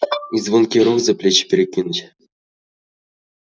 и звонкий рог за плечи перекинуть